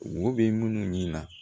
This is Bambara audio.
Wo bɛ minnu ɲini na